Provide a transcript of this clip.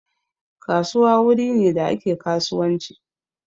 Kasuwa wuri ne da ake kasuwanci